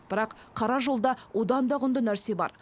бірақ қара жолда одан да құнды нәрсе бар